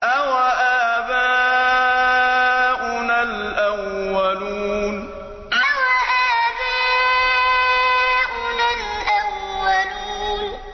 أَوَآبَاؤُنَا الْأَوَّلُونَ أَوَآبَاؤُنَا الْأَوَّلُونَ